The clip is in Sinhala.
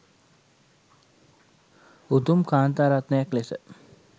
උතුම් කාන්තා රත්නයක් ලෙස